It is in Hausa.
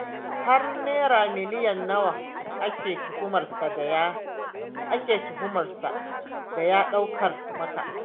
Har Naira miliyan nawa kake tuhumar sa da ya ɗaukar maka?